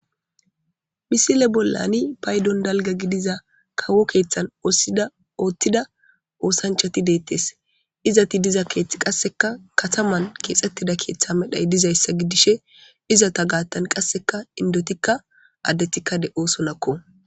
Misile bollani paydon dalga gidiza kawo keeththan ossida ootthida oosanchati deettes izati diza keethth qasseka kataman keexxettida keeththa medhay dizayssa gidishe izata gaattan qasseka indotikka addethikka de'osonakko.